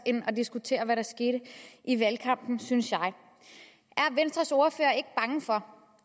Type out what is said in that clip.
end at diskutere hvad der skete i valgkampen synes jeg er venstres ordfører ikke bange for